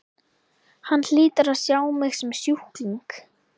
Hann hlýtur að sjá mig sem sjúkling.